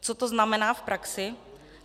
Co to znamená v praxi?